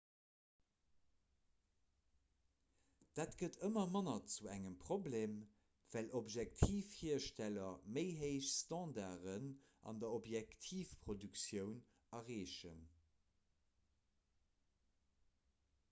dat gëtt ëmmer manner zu engem problem well objektivhiersteller méi héich standarden an der objektivproduktioun erreechen